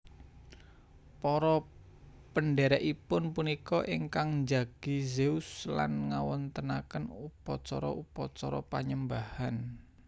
Para pendhèrèkipun punika ingkang njagi Zeus lan ngawontenaken upacara upacara panyembahan